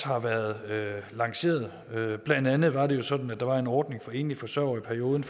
har været lanceret blandt andet var det sådan at der var en ordning for enlige forsørgere i perioden